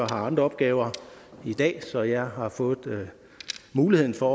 andre opgaver i dag så jeg har fået muligheden for